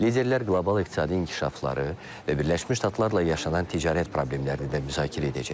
Liderlər qlobal iqtisadi inkişafları və Birləşmiş Ştatlarla yaşanan ticarət problemlərini də müzakirə edəcək.